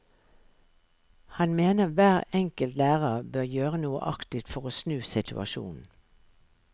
Han mener hver enkelt lærer bør gjøre noe aktivt for å snu situasjonen.